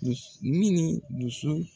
ni nin dusu.